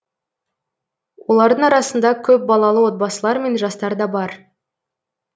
олардың арасында көпбалалы отбасылар мен жастар да бар